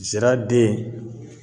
Zira den